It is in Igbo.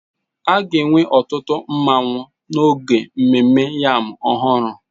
A ga-enwe ọtụtụ nmanwu n'oge ememme yam ọhụrụ